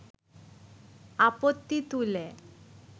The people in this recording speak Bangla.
আপত্তি তুলে